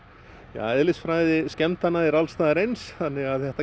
eðlisfræði skemmdanna er alls staðar eins þannig að það